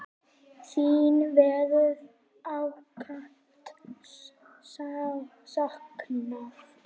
Þín verður ákaft saknað.